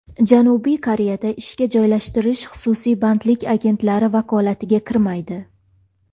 Janubiy Koreyada ishga joylashtirish xususiy bandlik agentliklari vakolatiga kirmaydi.